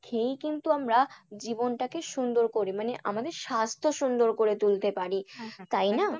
খেয়েই কিন্তু আমরা জীবনটাকে সুন্দর করি মানে আমাদের স্বাস্থ্য সুন্দর করে তুলতে পারি।